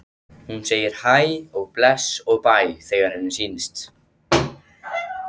Hún segir hæ og bless og bæ þegar henni sýnist!